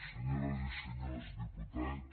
senyores i senyors diputats